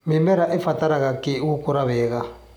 Mĩmera ĩbataraga kĩi gũkũra wega.